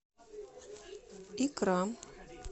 икра